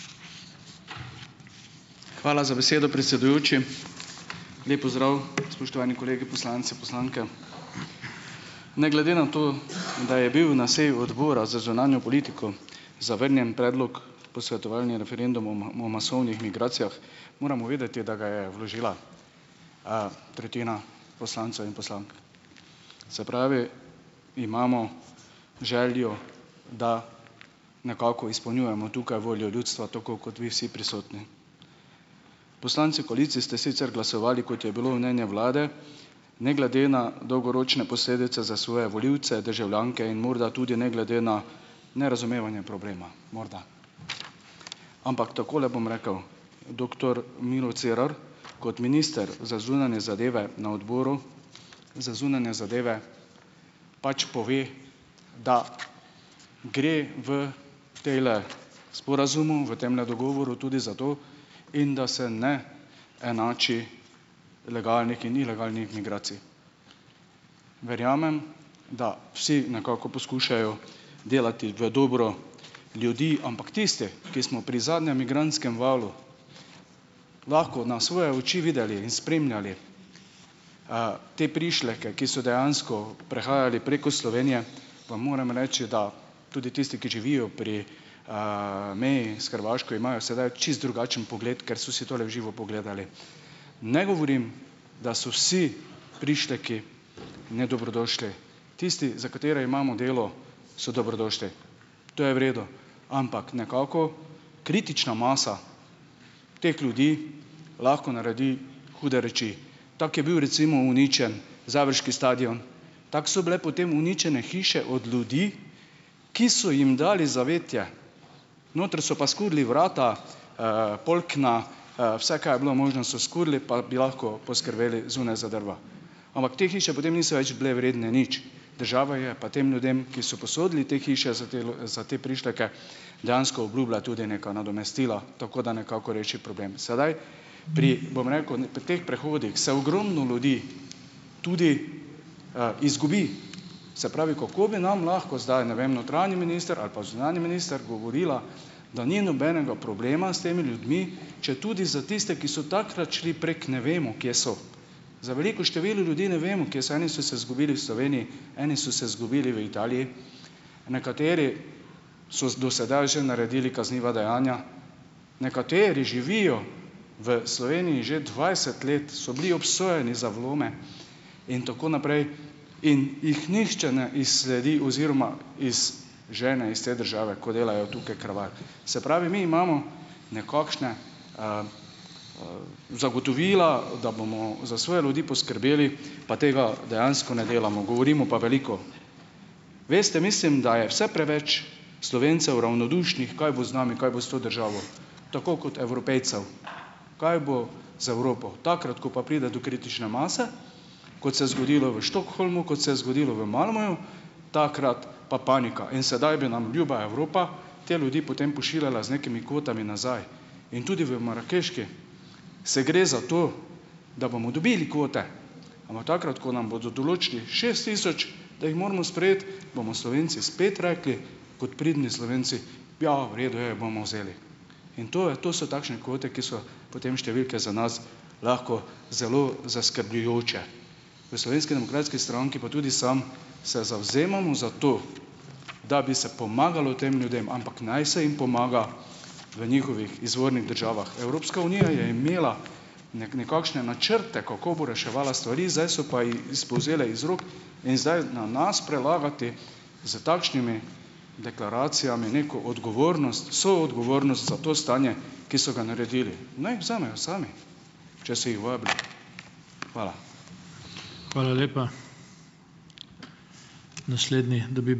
Hvala za besedo, predsedujoči. Lep pozdrav, spoštovani kolegi poslanci, poslanke! Ne glede na to, da je bil na seji Odbora za zunanjo politiko zavrnjen predlog posvetovalni referenduma o masovnih migracijah, moramo vedeti, da ga je vložila, tretjina poslancev in poslank. Se pravi, imamo željo, da nekako izpolnjujemo tukaj voljo ljudstva, tako kot vi vsi prisotni. Poslanci koalicije ste sicer glasovali, kot je bilo mnenje vlade, ne glede na dolgoročne posledice za svoje volivce, državljanke in morda tudi ne glede na nerazumevanje problema, morda. Ampak takole bom rekel, doktor Miro Cerar kot minister za zunanje zadeve na Odboru za zunanje zadeve pač pove, da gre v tejle sporazumu, v temle dogovoru tudi za to, in da se ne enači legalnih in ilegalnih migracij. Verjamem, da vsi nekako poskušajo delati v dobro ljudi, ampak tisti, ki smo pri zadnjem migrantskem valu lahko na svoje oči videli in spremljali, te prišleke, ki so dejansko prehajali preko Slovenije, vam moram reči, da tudi tisti, ki živijo pri, meji s Hrvaško, imajo sedaj čisto drugačen pogled, ker so si to le v živo pogledali. Ne govorim, da so si prišleki nedobrodošli. Tisti, za katere imamo delo, so dobrodošli, to je v redu. Ampak nekako kritična masa teh ljudi lahko naredi hude reči. Tako je bil, recimo, uničenje završki stadion, tako so bile potem uničene hiše od ljudi, ki so jim dali zavetje. Noter so pa skurili vrata, polkna, vse, kaj je bilo možno, so skurili, pa bi lahko poskrbeli zunaj za drva. Ampak te hiše potem niso več bile vredne nič. Država je pa tem ljudem, ki so posodili te hiše za te prišleke, dejansko obljubila tudi neka nadomestila, tako da nekako reši problem. Sedaj pri, bom rekel, pri teh prehodih se ogromno ljudi tudi, izgubi, se pravi, kako bi nam lahko zdaj, ne vem, notranji minister ali pa zunanji minister govorila, da ni nobenega problema s temi ljudmi, četudi za tiste, ki so takrat šli prek, ne vemo, kje so. Za veliko število ljudi ne vemo, kje so. Eni so se izgubili v Sloveniji, eni so se izgubili v Italiji, nekateri so z do sedaj že naredili kazniva dejanja, nekateri živijo v Sloveniji že dvajset let, so bili obsojeni za vlome in tako naprej in jih nihče ne izsledi oziroma izžene iz te države, ko delajo tukaj kraval. Se pravi, mi imamo nekakšna zagotovila, da bomo za svoje ljudi poskrbeli, pa tega dejansko ne delamo, govorimo pa veliko. Veste, mislim, da je vse preveč Slovencev ravnodušnih, kaj bo z nami, kaj bo s to državo, tako kot Evropejcev, kaj bo z Evropo. Takrat, ko pa pride do kritične mase, kot se je zgodilo v Stockholmu, kot se je zgodilo v Malmöju, takrat pa panika. In sedaj bi nam ljuba Evropa te ljudi potem pošiljala z nekimi kvotami nazaj. In tudi v marakeški se gre za to, da bomo dobili kvote. Ampak takrat, ko nam bodo določili šest tisoč, da jih moramo sprejeti, bomo Slovenci spet rekli kot pridni Slovenci: "Ja, v redu je, bomo vzeli." In to je, to so takšne kvote, ki so potem številke za nas lahko zelo zaskrbljujoče. V Slovenski demokratski stranki, pa tudi sam, se zavzemamo za to, da bi se pomagalo tem ljudem, ampak naj se jim pomaga v njihovih izvornih državah. Evropska unija je imela nekakšne načrte, kako bo reševala stvari, zdaj so pa ji spolzele iz rok in zdaj na nas prelagati s takšnimi deklaracijami neko odgovornost, soodgovornost za to stanje, ki so ga naredili. Naj ji vzamejo sami, če so jih vabili. Hvala.